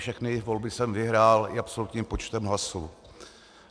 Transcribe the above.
Všechny volby jsem vyhrál i absolutním počtem hlasů.